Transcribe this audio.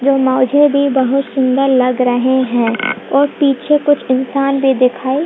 यह मौजे भी बहुत सुंदर लग रहे हैं और पीछे कुछ इंसान भी दिखाई --